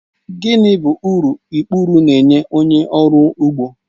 Gịnị bụ uru ikpuru nye onye ọrụ ugbo